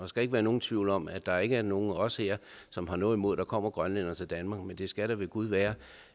skal ikke være nogen tvivl om at der ikke er nogen af os her som har noget imod at der kommer grønlændere til danmark men det skal da ved gud være